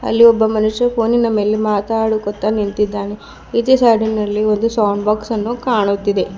ಅಲ್ಲಿ ಒಬ್ಬ ಮನುಷ್ಯ ಫೋನಿನ ಮೇಲೆ ಮಾತಾಡುತಾ ನಿಂತಿದ್ದಾನೆ ಈಚೆ ಸೈಡಿನಲ್ಲಿ ಒಂದು ಸೌಂಡ್ ಬಾಕ್ಸ್ ಅನ್ನು ಕಾಣುತ್ತಿದೆ.